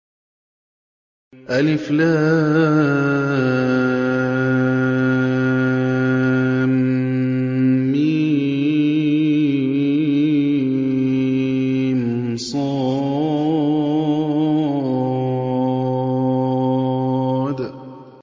المص